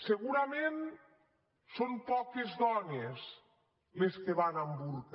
segurament són poques dones les que van amb burca